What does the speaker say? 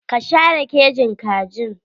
Ka share kejin kajin?